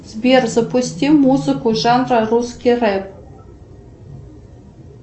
сбер запусти музыку жанра русский рэп